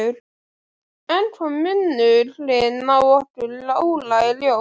Enn kom munurinn á okkur Óla í ljós.